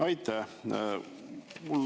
Aitäh!